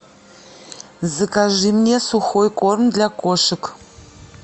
закажи мне сухой корм для кошек